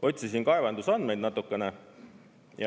Otsisin kaevandusandmeid natukene.